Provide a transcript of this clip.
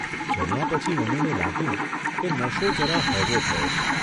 જમ્યા પછી મનુને લાગ્યું કે નશો જરા હળવો થયો છે.